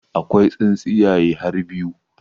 Akwai tsintsiyaye har biyu